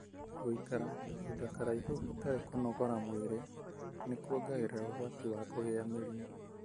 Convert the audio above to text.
Gũikara kahinda karaihu hatari kũnogora mwĩri nĩ kuongagĩrĩra ũgwati wa kũgĩa mĩrimũ.